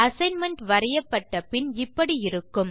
assignment வரையப்பட்ட பின் இப்படி இருக்கும்